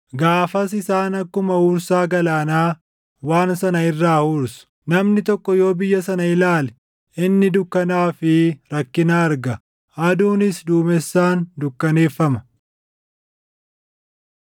Gaafas isaan akkuma huursaa galaanaa waan sana irraa huursu. Namni tokko yoo biyya sana ilaale, inni dukkanaa fi rakkina arga; aduunis duumessaan dukkaneeffama.